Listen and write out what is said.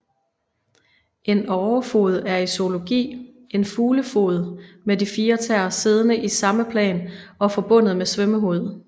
En årefod er i zoologi en fuglefod med de fire tæer siddende i samme plan og forbundet med svømmehud